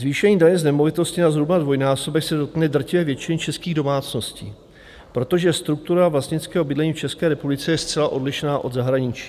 Zvýšení daně z nemovitosti na zhruba dvojnásobek se dotkne drtivé většiny českých domácností, protože struktura vlastnického bydlení v České republice je zcela odlišná od zahraničí.